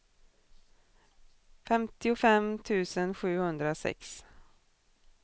femtiofem tusen sjuhundrasex